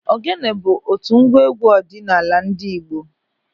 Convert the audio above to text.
Ògénė bụ otu ngwa égwú ọdịnala ndị Igbo.